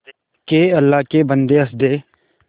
के अल्लाह के बन्दे हंस दे